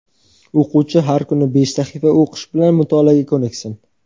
O‘quvchi har kuni besh sahifa o‘qish bilan mutolaaga ko‘niksin.